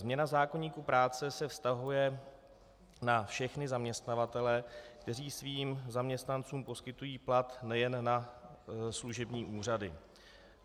Změna zákoníku práce se vztahuje na všechny zaměstnavatele, kteří svým zaměstnancům poskytují plat, nejen na služební úřady.